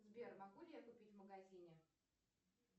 сбер могу ли я купить в магазине